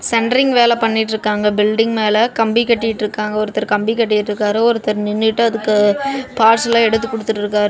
Centring வேல பண்ணிட்டுருக்காங்க building மேல கம்பி கட்டிட்டு இருக்காங்க ஒருத்தரு கம்பி கட்டிட்டு இருக்காரு ஒருத்தர் நின்னுட்டு அதுக்கு பார்ட்ஸ் எல்லா எடுத்து குடுத்துட்டடிருக்காரு.